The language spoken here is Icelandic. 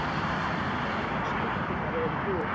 Bein stúlkunnar eru gul.